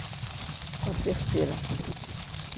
Eu sou a terceira.